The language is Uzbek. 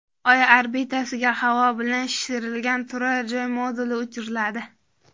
Oy orbitasiga havo bilan shishirilgan turar-joy moduli uchiriladi .